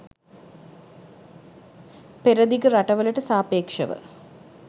පෙරදිග රටවලට සාපේක්ෂව